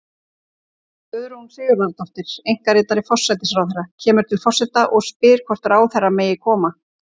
Guðrún Sigurðardóttir, einkaritari forsætisráðherra, kemur til forseta og spyr hvort ráðherra megi koma.